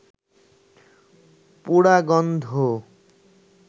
পোড়া গন্ধ